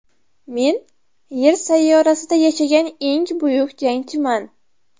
Men Yer sayyorasida yashagan eng buyuk jangchiman.